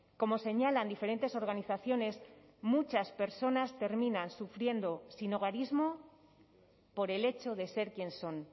como señalan diferentes organizaciones muchas personas terminan sufriendo sinhogarismo por el hecho de ser quien son